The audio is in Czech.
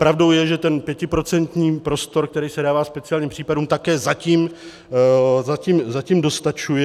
Pravdou je, že ten pětiprocentní prostor, který se dává speciálním případům, také zatím dostačuje.